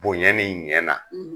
Bonya nin ɲɛ na.